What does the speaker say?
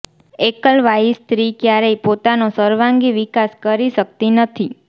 એકલવાયી સ્ત્રી ક્યારેય પોતાનો સર્વાંગી વિકાસ કરી શકતી નથી